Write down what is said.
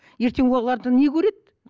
ертең олардан не көреді